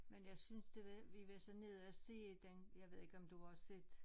Men jeg synes det var vi var så nede og se den jeg ved ikke om du har set